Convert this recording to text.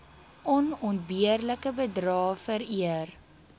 onontbeerlike bydrae vereer